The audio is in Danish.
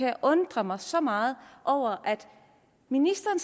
jeg undrer mig så meget over at ministeren